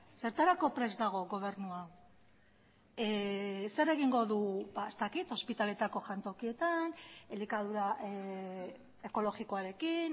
zertarako prest dago gobernua zer egingo du ez dakit ospitaleetako jantokietan elikadura ekologikoarekin